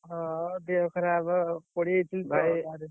ହଁ ଦେହ ଖରାପ ପଡ଼ିଯାଇଥିଲି ।